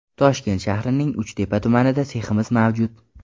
Toshkent shahrining Uchtepa tumanida seximiz mavjud.